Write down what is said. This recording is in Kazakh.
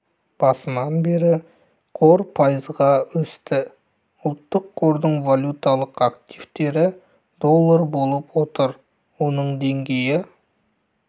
басынан бері қор пайызға өсті ұлттық қордың валюталық активтері доллар болып отыр оның деңгейі